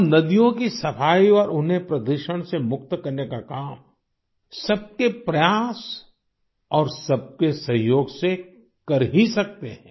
हम नदियों की सफाई और उन्हें प्रदूषण से मुक्त करने का काम सबके प्रयास और सबके सहयोग से कर ही सकते हैं